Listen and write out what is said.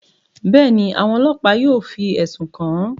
Bẹẹni, awọn ọlọpa yóò fi ẹsun kan an.